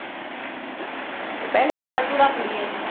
ਜੇ ਪਹਿਲਾਂ ਹੀ ਫਾਲਤੂ ਰੱਖ ਲਈਏ